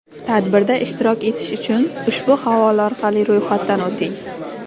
Tadbirda ishtirok etish uchun ushbu havola orqali ro‘yxatdan o‘ting!.